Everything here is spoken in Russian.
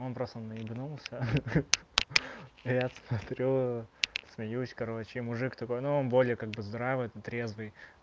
он просто наебнулся а сменилась короче мужик такой новым более как поздравляют на трезвый